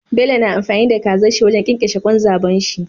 Bello na amfani da kazar shi wajan kyankyashe kwan zabon shi